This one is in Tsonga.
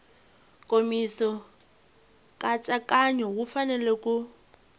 nkomiso nkatsakanyo wu fanele ku